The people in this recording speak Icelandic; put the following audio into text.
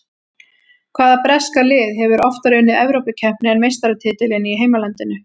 Hvaða breska lið hefur oftar unnið Evrópukeppni en meistaratitilinn í heimalandinu?